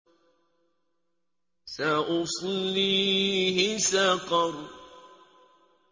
سَأُصْلِيهِ سَقَرَ